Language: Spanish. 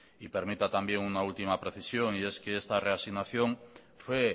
y permita también una última precisión y es que esa reafirmación fue